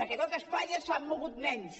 perquè tot espanya s’ha mogut menys